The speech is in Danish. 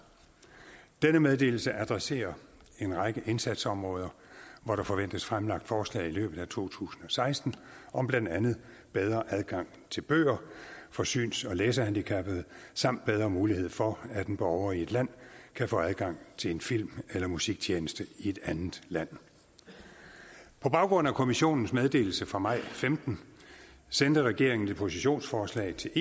denne meddelelse adresserer en række indsatsområder hvor der forventes fremlagt forslag i løbet af to tusind og seksten om blandt andet bedre adgang til bøger for syns og læsehandicappede samt bedre muligheder for at en borger i et land kan få adgang til en film eller musiktjeneste i et andet land på baggrund af kommissionens meddelelse fra maj og femten sendte regeringen et positionsforslag til